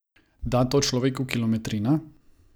Da to človeku kilometrina?